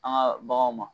An ka baganw ma